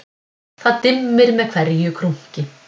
Það dimmir með hverju krunki